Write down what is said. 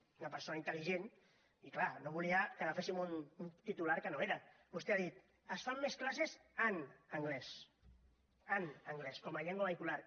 una persona intel·ligent i clar no volia que agaféssim un titular que no era vostè ha dit es fan més classes en anglès llengua vehicular